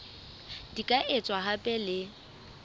di ka etswa hape le